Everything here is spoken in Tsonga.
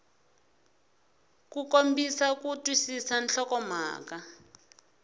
ku kombisa ku twisisa nhlokomhaka